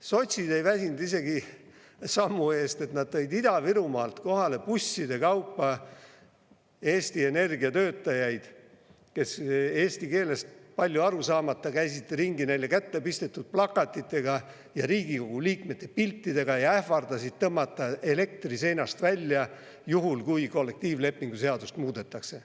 Sotsid ei isegi sammu ees, et nad tõid Ida-Virumaalt kohale busside kaupa Eesti Energia töötajaid, kes eesti keelest palju aru saamata käisid ringi neile kätte pistetud plakatitega ja Riigikogu liikmete piltidega ja ähvardasid tõmmata elektri seinast välja, juhul kui kollektiivlepingu seadust muudetakse.